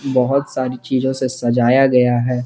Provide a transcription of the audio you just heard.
बहुत सारी चीजों से सजाया गया है।